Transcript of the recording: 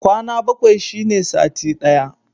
Kwana bakwai shine sati ɗaya.